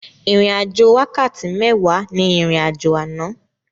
Ìrìn àjò wákàtí méwàá ní ìrìn àjò àná.